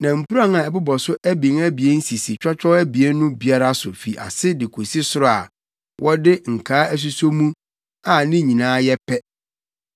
Na mpuran a ɛbobɔ so abien abien sisi twɔtwɔw abien no biara so fi ase de kosi soro a wɔde nkaa asuso mu a ne nyinaa yɛ pɛ.